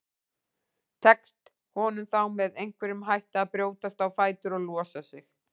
Tekst honum þá með einhverjum hætti að brjótast á fætur og losa sig.